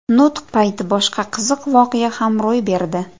Nutq payti boshqa qiziq voqea ham ro‘y berdi .